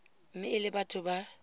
mme e le batho ba